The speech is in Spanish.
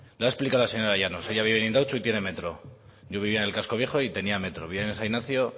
lo ha explicado la señora llanos ella vive en indautxu y tiene metro yo vivía en el casco viejo y tenía metro vivía en san ignacio